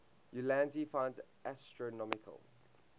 ulansey finds astronomical